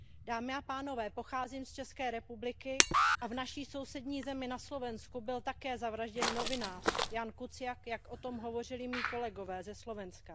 Dámy a pánové, pocházím z České republiky a v naší sousední zemi, na Slovensku, byl také zavražděn novinář, Ján Kuciak, jak o tom hovořili mí kolegové ze Slovenska.